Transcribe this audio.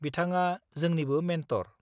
बिथाङा जोंनिबो मेन्टर।